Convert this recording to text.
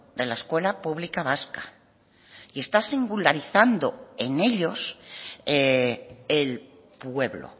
de la escuela pública vasca y está singularizando en ellos el pueblo